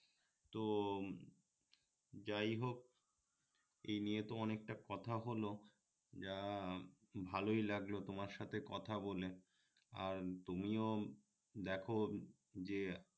তো যাইহোক এনিয়ে তো অনেকটা কথা হলো যা ভালই লাগলো তোমার সাথে কথা বলে আর তুমিও দেখো যে